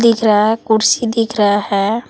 दिख रहा है कुर्सी दिख रहा है।